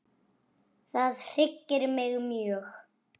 Það hryggir mig mjög.